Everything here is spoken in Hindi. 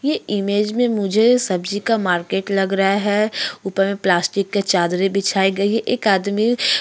ये इमेज में मुझे सब्जी का मार्केट लग रहा है उपर प्लास्टिक के चादरे बिछाई गई एक आदमी --